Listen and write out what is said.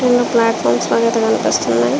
రెండు ప్లాట్ఫార్మ్స్ అయితే కనిపిస్తున్నాయి.